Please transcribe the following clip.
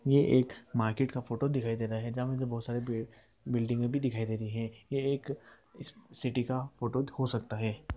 ये एक मार्केट का फोटो दिखाई दे रहा है बहुत सारे बिल्डिंगे भी दिखाई दे रही है| ये एक सिटी का फोटो हो सकता है।